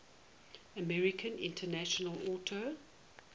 american international auto